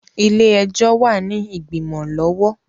Ilé-ẹjọ wà ní igbimọ lọwọ